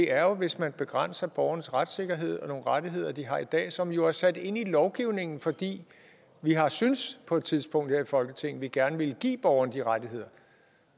er jo hvis man begrænser borgernes retssikkerhed og nogle rettigheder de har i dag som jo er sat ind i lovgivningen fordi vi har syntes på et tidspunkt her i folketinget at vi gerne ville give borgerne de rettigheder